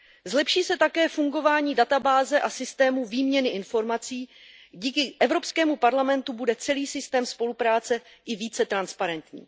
Zlepší se také fungování databáze a systému výměny informací, díky Evropskému parlamentu bude celý systém spolupráce i více transparentní.